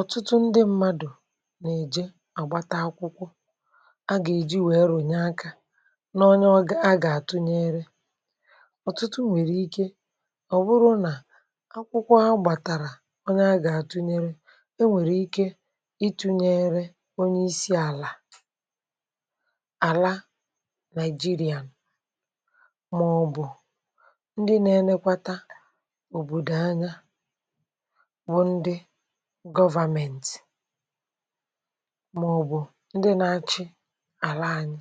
ọ̀tụtụ ndị mmadụ̀ nà-èje àgbata akwụkwọ a gà-èji wèe rònyere akȧ n’onye a gà-àtụ nyeere ọ̀tụtụ nwèrè ike ọ̀ bụrụ nà akwụkwọ a gbàtàrà onye a gà-àtụ nyeere e nwèrè ike itu̇nyere onye isi àlà àla nigeria màọbụ̀ ndị nȧ-enekwata òbòdò anya gọvȧmėntì. màọ̀bụ̀ ndị na-achị àla anyị.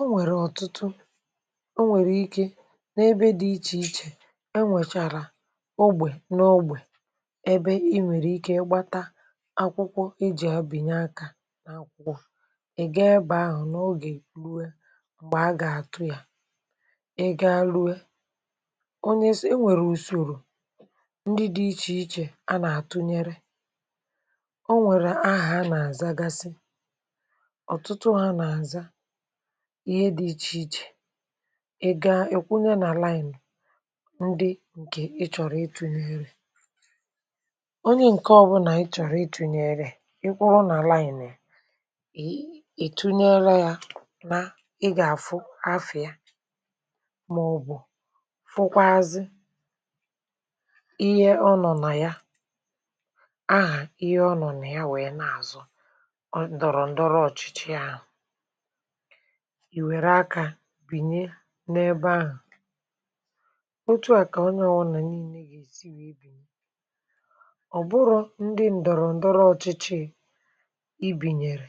o nwèrè ọ̀tụtụ o nwèrè ike n’ebe dị ichè ichè enwèchàrà ogbè n’ogbè ebe i nwèrè ike ịgbata akwụkwọ iji a bịnye akȧ n’akwụkwọ̇, ị̀ gaa ịbà ahụ̀ n’ogè rue m̀gbè a gà-àtụ ya i gaa rue. Onwéré otu dị̇ ichè ichè a nà-àtunyere o nwèrè ahà a nà-àza gasị ọ̀tụtụ a nà-àza ihe dị̇ ichè ichè ị gaa, ị̀ kwụnye n’àlaị̀mị̀ ndị ǹkè ị chọ̀rọ̀ itu n’erè onye ǹke ọ̇bụ̇nà ị chọ̀rọ̀ itu n’erè, ị kwụrụ n’àlaị̀mị̀ nà ì ị ì tunyere yȧ na ị gà-àfụ afịa màọ̀bụ̀ fụkwazị ihé ononaya, ahà ihe ọ nọ̀ nà ya wèe na-àzụ ọ dọ̀rọ̀ ǹdọrọ ọ̀chị̀chị̀ ahụ̀ ì wère akȧ bìnye n’ebe ahụ̀ otu à kà onye ọ̀wụnà nii̇nė gà-èsi yȧ ebì nye ọ̀ bụrụ̀ ndị ǹdọ̀rọ̀ ǹdọrọ̀ ọ̀chị̀chị̀ i bìnyèrè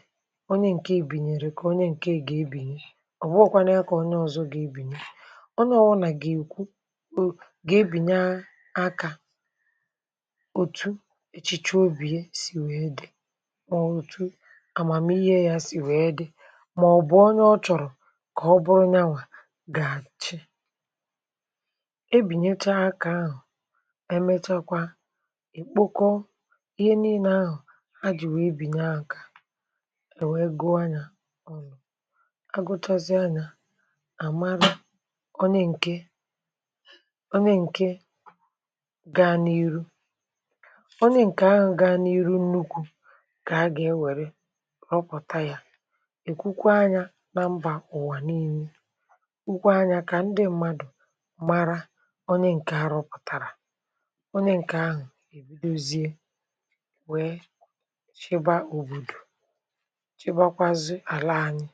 onye ǹke bìnyèrè kà onye ǹke ga-ebìnyè ọ̀bụghị̇kwanụ ya kà onye ọzọ gà-ebìnyè onye ọwụnà gà-èkwu o gà-ebìnya akȧ òtù èchịchị obì ye sì wèe dì ọ̀màmà ihe sì wèe dị mà ọ̀bụ̀ ọnụ ọ chọ̀rọ̀ kà ọ bụrụ n’anwà gà àchị e bìnyechaa akȧ ahụ̀ emechakwa èkpokọ ihe niile ahụ̀ ajị̀ wèe bìnyè akȧ è wèe gụa nyȧ ọnụ̇ agụtazịa nà àmara ọnị ǹke onye ǹkè ahụ̀ ga-anị nụkwu ǹkè a gà-ewère rọpụ̀ta ya èkwukwa anyȧ na mbà ụ̀wà niilė wukwa anyȧ kà ndị mmadụ̀ mara onye ǹkè a rọpụ̀tàrà onye ǹkè ahụ̀ èbidozie wee chebaa òbòdò chebakwazị àla anyị̇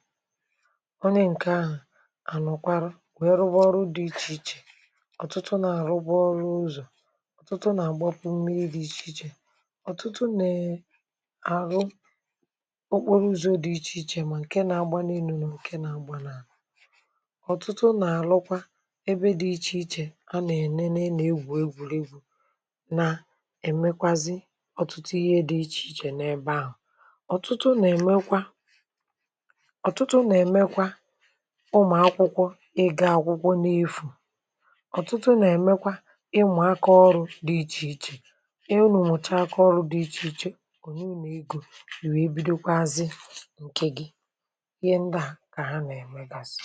onye ǹkè ahụ̀ ànụ̀kwarụ wee rụbọrụ dị̇ ichè ichè ọ̀tụtụ nà àrụbọrụ ụzọ̀ ọ̀tụtụ nè àhụ okporo ụzọ̀ dị̀ ichè ichè mà ǹke na-agba n’inùnù ǹke na-agbanà à ọ̀tụtụ nà-àrụkwa ebe dị̇ ichè ichè ha nà-ènene nà-egwù egwùrù egwù na-èmekwazị ọ̀tụtụ ihe dị̇ ichè ichè n’ebe ahụ̀ ọ̀tụtụ nèmekwa ọ̀tụtụ nèmekwa ụmụ̀ akwụkwọ ịga akwụkwọ n’efù onye ịnà egȯ nà wee bido kwa azị̇ ǹkè gị ihe ndị à kà ha nà-èmugasị